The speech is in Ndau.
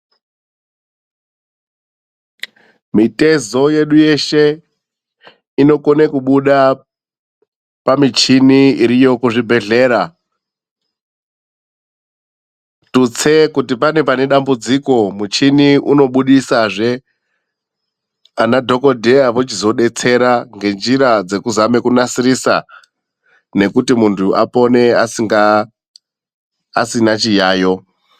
Mitezo yedu yeshe inokone kubuda pamichini iriyo kuzvibhedhlera. Tutse kuti pane pane dambudziko, muchini unobudisazve. Ana dhokodheya vochizodetsera ngenjira dzekuzame kunasirisa nekuti muntu apone asina chiyayo.